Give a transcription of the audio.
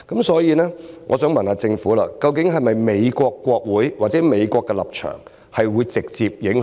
所以，我想問政府，究竟美國國會或美國的立場會否直接有影響？